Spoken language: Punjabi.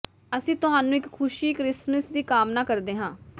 ਅਸੀਂ ਤੁਹਾਨੂੰ ਇਕ ਖੁਸ਼ੀ ਕ੍ਰਿਸਮਸ ਦੀ ਕਾਮਨਾ ਕਰਦੇ ਹਾਂ